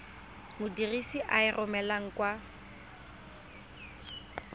modirisi a e romelang kwa